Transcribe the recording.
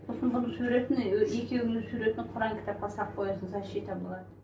сосын бұның суретіне екеуіңнің суретін құран кітапқа салып қоясың защита болады